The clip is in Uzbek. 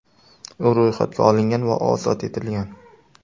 U ro‘yxatga olingan va ozod etilgan.